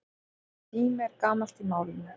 Orðið sími er gamalt í málinu.